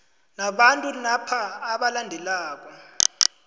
nabantu napa abalandelako